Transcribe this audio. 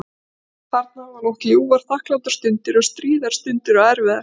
Þarna hafði hún átt ljúfar, þakklátar stundir og stríðar stundir og erfiðar.